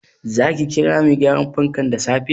Zaki kira mai gyaran fankan da safe?